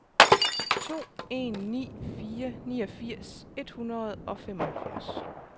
to en ni fire niogfirs et hundrede og femoghalvfjerds